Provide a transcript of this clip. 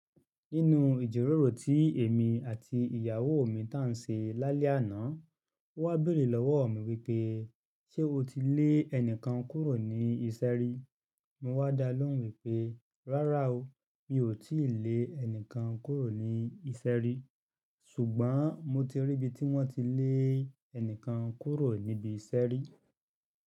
Nínu ìjíròrò tí èmi àti ìyàwó mi tán ṣe lálẹ́ àná, ó wá béèrè lọ́wọ́ mi wípé: "Ṣé o ti lé ẹnìkan kúrò ní iṣẹ́ rí?" Mo wá dá lóhùn wípé, rárá o, mi ò tíì lé ẹnìkan kúrò ní iṣẹ́ rí. Ṣùgbọ́n mo ti rí ibi tí wọ́n ti lé ẹnìkan kúrò níbi iṣẹ́ rí.